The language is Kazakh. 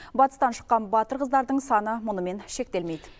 батыстан шыққан батыр қыздардың саны мұнымен шектелмейді